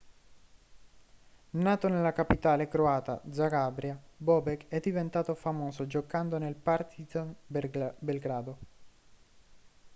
nato nella capitale croata zagabria bobek è diventato famoso giocando nel partizan belgrado